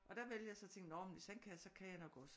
Og der valgte jeg så at tænke at nå hvis han kan så kan jeg nok også